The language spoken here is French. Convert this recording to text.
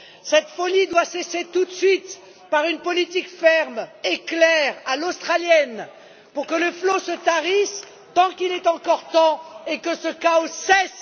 Cette folie doit cesser tout de suite, par une politique ferme et claire, à l'australienne, pour que le flot se tarisse, tant qu'il est encore temps, et que ce chaos cesse!